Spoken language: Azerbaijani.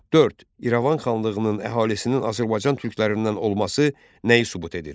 Dörd İrəvan xanlığının əhalisinin Azərbaycan türklərindən olması nəyi sübut edir?